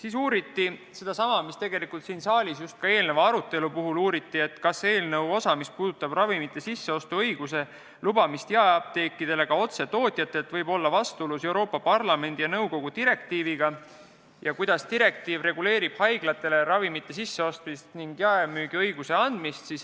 Ka uuriti sellesama kohta, mida täna siin saalis arutelu käigus küsiti: kas eelnõu osa, mis puudutab seda, et jaeapteekidele antakse õigus ravimeid otse tootjatelt sisse osta, võib olla vastuolus Euroopa Parlamendi ja nõukogu direktiiviga ja kuidas direktiiv reguleerib haiglatele ravimite sisseostmist ning jaemüügiõiguse andmist.